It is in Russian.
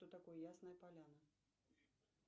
что такое ясная поляна